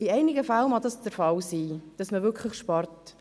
In einigen Fällen mag es der Fall sein, dass man wirklich spart.